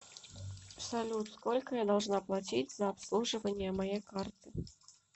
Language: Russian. салют сколько я должна платить за обслуживание моей карты